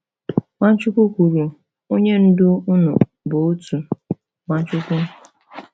Nwachukwu kwuru: Onye Ndu unu bụ otu, Nwachukwu.